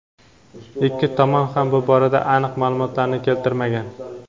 Ikki tomon ham bu borada aniq ma’lumotlarni keltirmagan.